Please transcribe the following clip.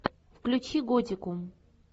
включи готику